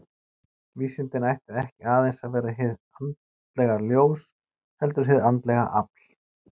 Vísindin ættu ekki aðeins að vera hið andlega ljós, heldur og hið andlega afl.